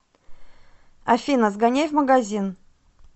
афина сгоняй в магазин